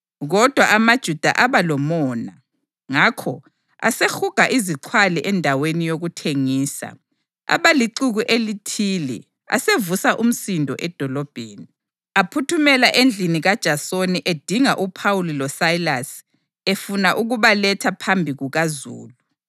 Kodwa amaJuda aba lomona; ngakho asehuga izixhwali endaweni yokuthengisa, abalixuku elithile asevusa umsindo edolobheni. Aphuthumela endlini kaJasoni edinga uPhawuli loSayilasi efuna ukubaletha phambi kukazulu.